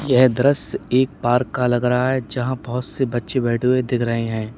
यह दृश्य एक पार्क का लग रहा है जहाँ बहुत से बच्चे बैठे हुए दिख रहे हैं।